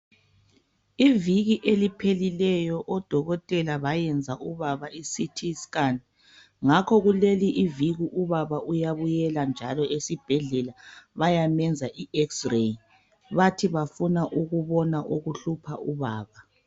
Iviki eliphelileyo odokotela bayenza ubaba iCT scan, ngakho kuleliviki ubaba uyabuyela njalo esibhedlela bayamenza iX-ray. Bathi bafuna ukubona okuhlupha ubaba.